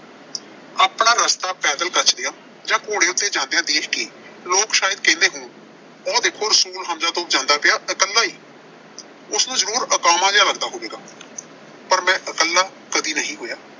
ਆਪਣਾ ਰਸਤਾ ਪੈਦਲ ਕੱਛਦਿਆਂ ਜਾਂ ਘੋੜੇ ਉੱਤੇ ਜਾਂਦਿਆਂ ਦੇਖ ਕੇ ਲੋਕ ਸ਼ਾਇਦ ਕਹਿੰਦੇ ਹੋਣ ਆ ਦੇਖੋ ਰਸੂਲਹਮਜ਼ਾ ਤੋਂ ਜਾਂਦਾ ਪਿਆ ਇਕੱਲ ਹੀ। ਉਸਨੂੰ ਜ਼ਰੂਰ ਅਕਾਵਾਂ ਜਿਹ ਲੱਗਦਾ ਹੋਵੇਗਾ। ਪਰ ਮੈਂ ਇਕੱਲਾ ਕਦੀ ਨਹੀਂ ਹੋਇਆ।